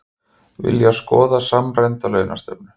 Vilja skoða samræmda launastefnu